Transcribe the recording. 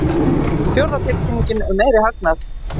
Fjórða tilkynningin um meiri hagnað